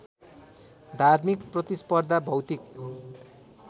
धार्मिक प्रतिस्पर्धा भौतिक